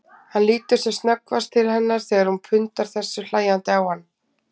Hann lítur sem snöggvast til hennar þegar hún pundar þessu hlæjandi á hann.